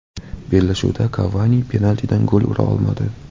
Bellashuvda Kavani penaltidan gol ura olmadi.